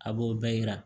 A b'o bɛɛ yira